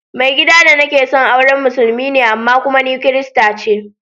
Mai gida da nake son aure musulmi ne amma kuma ni kirista ce.